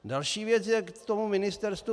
Další věc je k tomu ministerstvu.